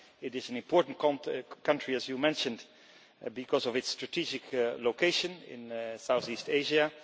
it is an important country, as you mentioned, because of its strategic location in Southeast Asia.